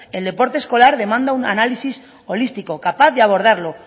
el deporte escolar demanda un análisis holístico capaz de abordarlo